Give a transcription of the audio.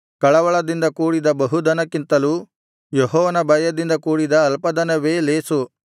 ಕಳವಳದಿಂದ ಕೂಡಿದ ಬಹುಧನಕ್ಕಿಂತಲೂ ಯೆಹೋವನ ಭಯದಿಂದ ಕೂಡಿದ ಅಲ್ಪ ಧನವೇ ಲೇಸು